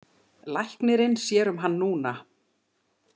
Læknirinn sér um hann núna.